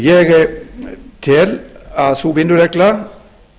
ég tel að sú vinnuregla